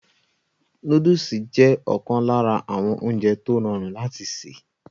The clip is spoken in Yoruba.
Nóódùsì jẹ́ ọ̀kan lára àwọn oúnjẹ tó rọrùn láti sè